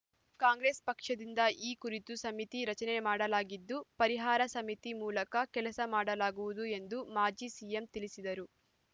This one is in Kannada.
ಕಾಂಗ್ರೆಸ್‌ ಪಕ್ಷದಿಂದ ಈ ಕುರಿತು ಸಮಿತಿ ರಚನೆ ಮಾಡಲಾಗಿದ್ದು ಪರಿಹಾರ ಸಮಿತಿ ಮೂಲಕ ಕೆಲಸ ಮಾಡಲಾಗುವುದು ಎಂದು ಮಾಜಿ ಸಿಎಂ ತಿಳಿಸಿದರು